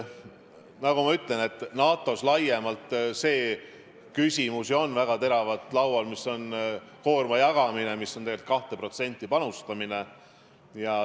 Nagu ma ütlesin, NATO-s laiemalt on väga teravalt laual see koorma jagamise küsimus, tegelikult 2%-ga panustamine.